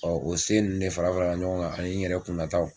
Ɔ o se nin de fara fara ɲɔgɔn kan ani n yɛrɛ kun nataw